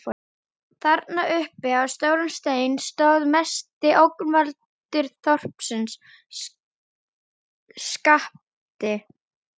Þarna uppi á stórum steini stóð mesti ógnvaldur þorpsins: SKAPTI